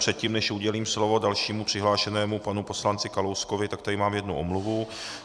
Předtím, než udělím slovo dalšímu přihlášenému panu poslanci Kalouskovi, tak tady mám jednu omluvu.